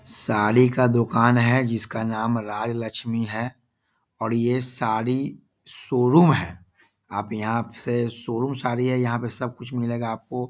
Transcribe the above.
साड़ी का दुकान है जिसका नाम राजलक्ष्मी है और यह साड़ी शोरूम है आप यहां से शोरूम साड़ी है यहां पे सब कुछ मिलेगा आपको।